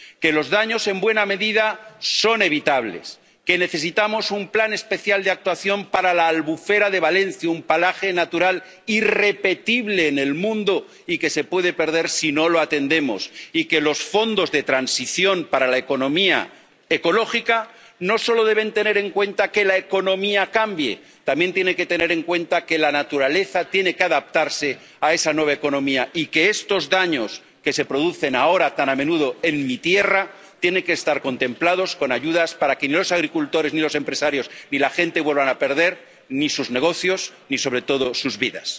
repetir que los daños, en buena medida, son evitables que necesitamos un plan especial de actuación para la albufera de Valencia —un paraje natural irrepetible en el mundo y que se puede perder si no lo atendemos— y que los fondos de transición para la economía ecológica no solo deben tener en cuenta que la economía cambie, también tienen que tener en cuenta que la naturaleza tiene que adaptarse a esa nueva economía y que estos daños que se producen ahora tan a menudo en mi tierra tienen que estar contemplados con ayudas para que ni los agricultores ni los empresarios ni la gente vuelvan a perder ni sus negocios ni, sobre todo, sus vidas.